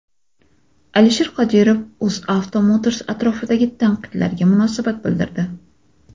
Alisher Qodirov UzAuto Motors atrofidagi tanqidlarga munosabat bildirdi.